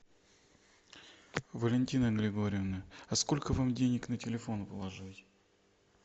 валентина григорьевна а сколько вам денег на телефон положить